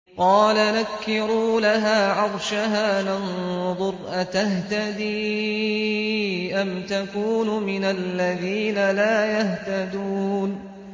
قَالَ نَكِّرُوا لَهَا عَرْشَهَا نَنظُرْ أَتَهْتَدِي أَمْ تَكُونُ مِنَ الَّذِينَ لَا يَهْتَدُونَ